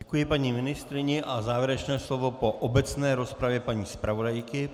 Děkuji paní ministryni a závěrečné slovo po obecné rozpravě paní zpravodajky.